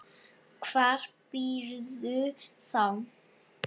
Hvar býrðu þá?